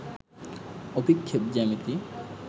অভিক্ষেপ জ্যামিতি